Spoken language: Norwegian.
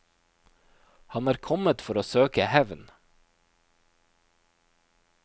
Han er kommet for å søke hevn.